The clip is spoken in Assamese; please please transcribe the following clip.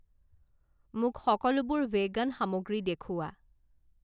মোক সকলোবোৰ ভেগান সামগ্ৰী দেখুওৱা।